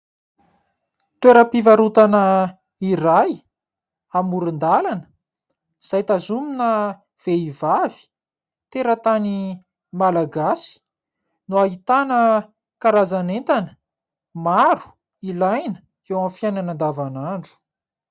Toeram-pivarotana iray amoron-dalana izay tazonina vehivavy teratany Malagasy no ahitana karazan'entana maro ilaina eo amin'ny fiainana andavanandro.